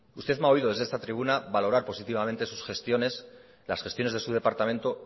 usted me ha oído desde esta tribuna valorar positivamente sus gestiones las gestiones de su departamento